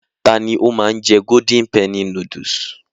Ta ni ó máa ń jẹ́ Golden penny noodles?